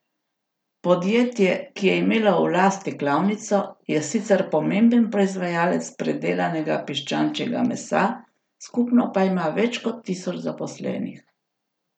Podjetje, ki je imelo v lasti klavnico, je sicer pomemben proizvajalec predelanega piščančjega mesa, skupno pa ima več kot tisoč zaposlenih.